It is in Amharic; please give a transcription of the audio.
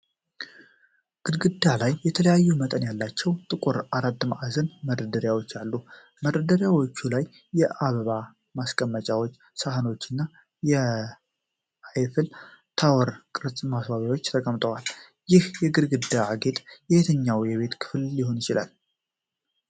ግድግዳ ላይ የተለያዩ መጠን ያላቸው ጥቁር አራት ማዕዘን መደርደሪያዎች አሉ። በመደርደሪያዎቹ ላይ የአበባ ማስቀመጫዎች፣ ሳህኖች እና የአይፍል ታወር ቅርጽ ማስዋቢያዎች ተቀምጠዋል። ይህ የግድግዳ ጌጥ የትኛው የቤት ክፍል ሊሆን ይችላል?